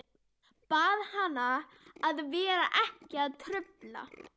Bað hana að vera ekki að trufla.